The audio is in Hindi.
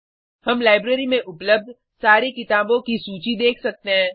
हम लाइब्रेरी में उपलब्ध सारी किताबों की सूची देख सकते हैं